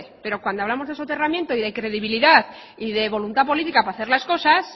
pero cuando hablamos de soterramiento y de credibilidad y de voluntad política para hacer las cosas